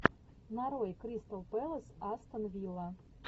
нарой кристал пэлас астон вилла